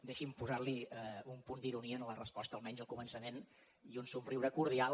deixi’m posar hi un punt d’ironia en la resposta almenys al començament i un somriure cordial